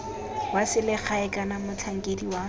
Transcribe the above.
wa selegae kana motlhankedi wa